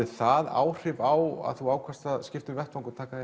það áhrif á að þú ákvaðst að skipta um vettvang og taka